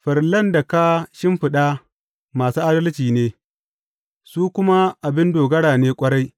Farillan da ka shimfiɗa masu adalci ne; su kuma abin dogara ne ƙwarai.